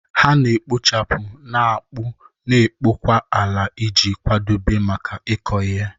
Ha na-ekpochapụ, na-akpụ, na-akpọkwa ala iji kwadebe maka ịkụ ihe.